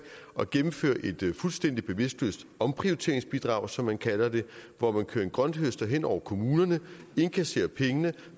at gennemføre et fuldstændig bevidstløst omprioriteringsbidrag som man kalder det hvor man kører en grønthøster hen over kommunerne og indkasserer pengene